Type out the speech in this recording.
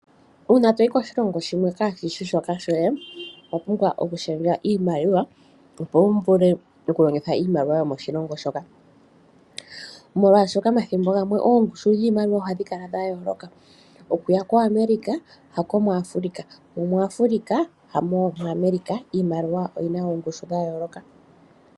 Una toyi koshilongo shimwe kashishi shoka shoye owa pumbwa okushendja iimaliwa opo wuvule okulongitha iimaliwa yomoshilongo shoka, molwashoka omathimbo gamwe oongushu dhiimaliwa ohadhi kala dha yooloka, okuya ku America hamo muAfrica mo muAfrica hamo muAmerica iimaliwa oyina oongushu dha yooloka.